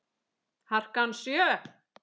Harkan sjö.